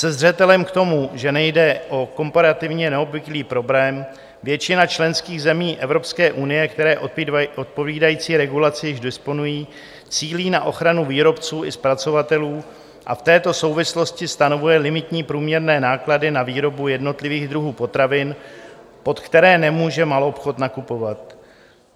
Se zřetelem k tomu, že nejde o komparativně neobvyklý problém, většina členských zemí Evropské unie, které odpovídající regulací již disponují, cílí na ochranu výrobců i zpracovatelů a v této souvislosti stanovují limitní průměrné náklady na výrobu jednotlivých druhů potravin, pod které nemůže maloobchod nakupovat.